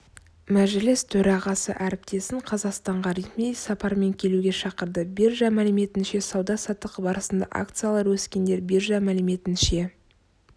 мәжіліс төрағасы әріптесін қазақстанға ресми сапармен келуге шақырды биржа мәліметінше сауда-саттық барысында акциялары өскендер биржа мәліметінше